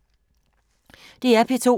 DR P2